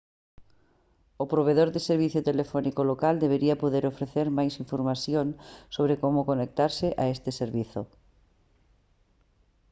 o provedor de servizo telefónico local debería poder ofrecer máis información sobre como conectarse a este servizo